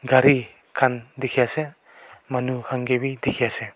gari khan dekhi ase aru manu khan dekhi ase.